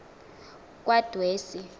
kwadwesi